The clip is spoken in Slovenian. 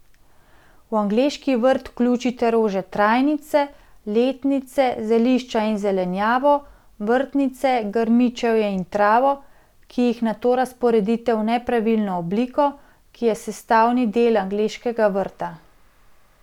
V angleški vrt vključite rože trajnice, letnice, zelišča in zelenjavo, vrtnice, grmičevje in travo, ki jih nato razporedite v nepravilno obliko, ki je sestavni del angleškega vrta.